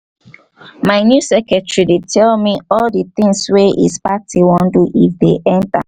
my new secretary dey tell me all the thing wey his party wan do if they enter